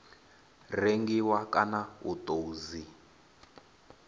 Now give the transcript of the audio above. rengiwa kana u tou dzi